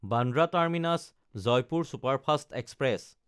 Bandra টাৰ্মিনাছ–জয়পুৰ superfast express